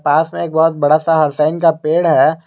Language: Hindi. पास में बहुत बडा सा हरसइन का पेड़ है।